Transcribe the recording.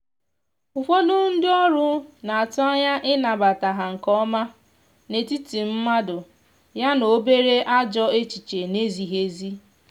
ụfọdụ ndi ọrụ n'atụ anya ịnabata ha nke ọma n’etiti mmadụ ya na obere ajọ echiche na ezighi ezi